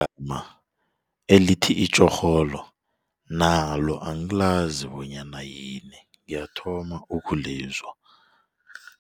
elithi itjorholo nalo angilazi bonyana yini ngiyathoma ukulizwa.